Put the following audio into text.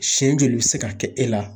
Siɲɛ joli bɛ se ka kɛ e la.